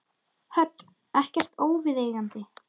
Hödd: Ekkert óviðeigandi?